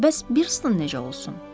Bəs Biristton necə olsun?